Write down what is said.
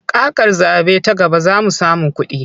Kakar zaɓe ta gaba za mu samu kuɗi.